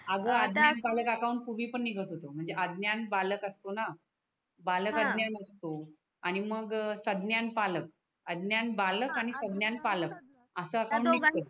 बालक अज्ञान असतो हा आणि मग संज्ञान पालक अज्ञान बालक आणि संज्ञान पालक आस अकाउन्ट निगत हया दोघांच